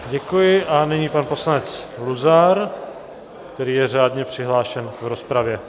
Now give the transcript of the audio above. Děkuji a nyní pan poslanec Luzar, který je řádně přihlášen v rozpravě.